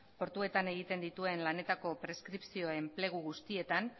portuetan egiten dituen lanetako preskripzioen plegu guztietan